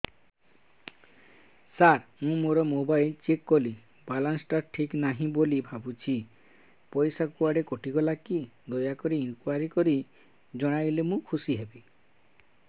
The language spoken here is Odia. ସାର ମୁଁ ମୋର ମୋବାଇଲ ଚେକ କଲି ବାଲାନ୍ସ ଟା ଠିକ ନାହିଁ ବୋଲି ଭାବୁଛି ପଇସା କୁଆଡେ କଟି ଗଲା କି ଦୟାକରି ଇନକ୍ୱାରି କରି ଜଣାଇଲେ ମୁଁ ଖୁସି ହେବି